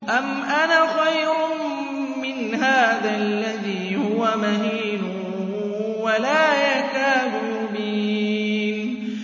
أَمْ أَنَا خَيْرٌ مِّنْ هَٰذَا الَّذِي هُوَ مَهِينٌ وَلَا يَكَادُ يُبِينُ